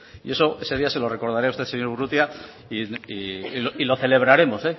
y ese día se lo recordaré a usted señor urrutia y lo celebraremos